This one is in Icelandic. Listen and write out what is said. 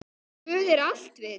Guð er alvitur